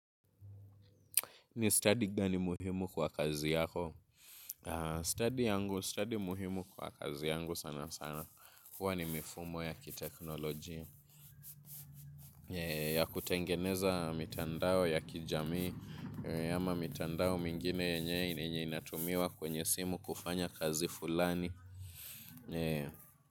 Ni study gani muhimu kwa kazi yako? Study yangu, study muhimu kwa kazi yangu sana sana. Huwa ni mifumo ya kiteknolojia. Ya kutengeneza mitandao ya kijamii. Ama mitandao mingine yenye inatumiwa kwenye simu kufanya kazi fulani.